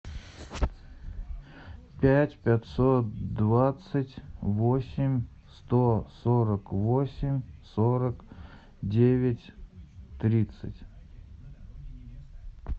пять пятьсот двадцать восемь сто сорок восемь сорок девять тридцать